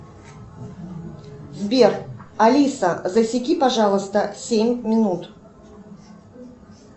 сбер алиса засеки пожалуйста семь минут